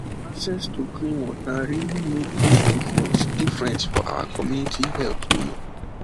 access to clean water really make big difference difference for our community health you know